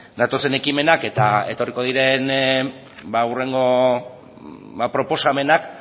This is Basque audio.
datozen ekimenak eta etorriko diren hurrengo proposamenak